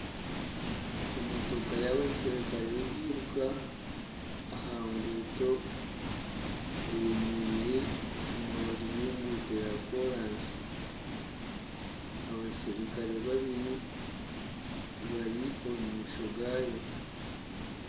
Emotoka y'abaserukare b'ebiiruka aha nguuto, eyemereire omu rubaju rw'enguuto ya kooraasi, abaserukare babiri bari omu maisho gaayo